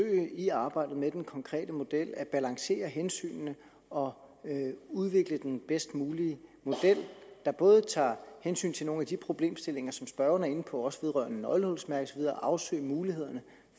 at vi i arbejdet med den konkrete model at balancere hensynene og udvikle den bedst mulige model der både tager hensyn til nogle af de problemstillinger som spørgeren er inde på også vedrørende nøglehulsmærket og afsøge mulighederne